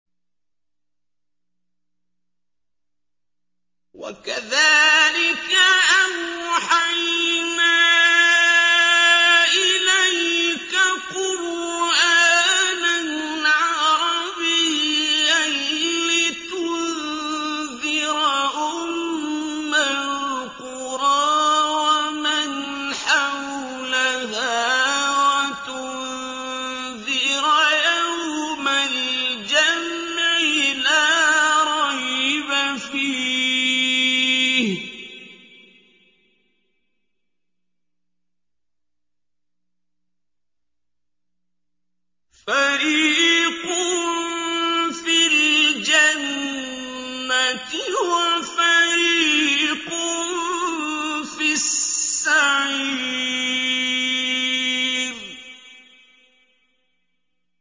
وَكَذَٰلِكَ أَوْحَيْنَا إِلَيْكَ قُرْآنًا عَرَبِيًّا لِّتُنذِرَ أُمَّ الْقُرَىٰ وَمَنْ حَوْلَهَا وَتُنذِرَ يَوْمَ الْجَمْعِ لَا رَيْبَ فِيهِ ۚ فَرِيقٌ فِي الْجَنَّةِ وَفَرِيقٌ فِي السَّعِيرِ